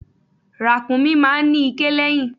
Ràkúnmí máa ń ní iké lẹ́yìn.